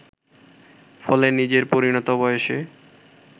ফলে নিজের পরিণত বয়সে